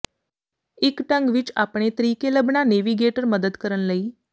ਇੱਕ ਢੰਗ ਵਿੱਚ ਆਪਣੇ ਤਰੀਕੇ ਲੱਭਣਾ ਨੇਵੀਗੇਟਰ ਮਦਦ ਕਰਨ ਲਈ